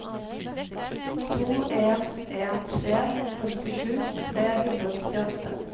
to en en tre femtisju tre hundre og nittiåtte